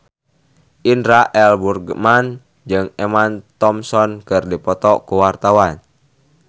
Indra L. Bruggman jeung Emma Thompson keur dipoto ku wartawan